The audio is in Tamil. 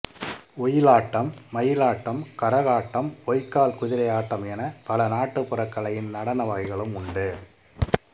ஒயிலாட்டம் மயிலாட்டம் கரகாட்டம் பொய்க்கால் குதிரை ஆட்டம் என பல நாட்டுபுற கலையின் நடன வகைகளும் உண்டு